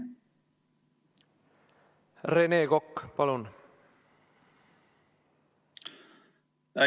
Rene Kokk, palun!